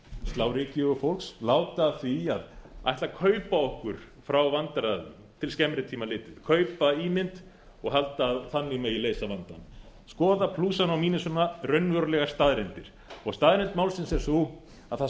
slá ryki í augu fólks láta af því að ætla að kaupa okkur frá vandræðum til skemmri tíma litið kaupa ímynd og halda að þannig megi leysa vandann skoða plúsana og mínusana raunverulegar staðreyndir staðreynd málsins er sú að það